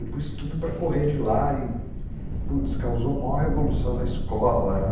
E pus tudo para correr de lá e, putz, causou maior revolução na escola, né?